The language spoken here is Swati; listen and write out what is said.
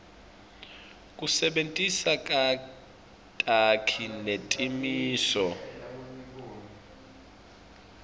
kusebentisa takhi netimiso